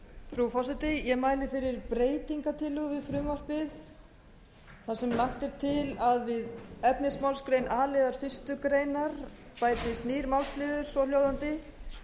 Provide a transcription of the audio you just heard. frú forseti ég mæli fyrir breytingartillögu við frumvarpið þar sem lagt er til að efnismálsgrein a liðar fyrstu grein bætist nýr málsliður svo hljóðandi